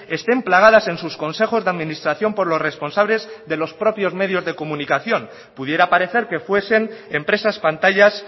estén plagadas en sus consejos de administración por los responsables de los propios medios de comunicación pudiera parecer que fuesen empresas pantallas